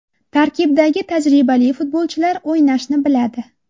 Tarkibdagi tajribali futbolchilar o‘ynashni biladi.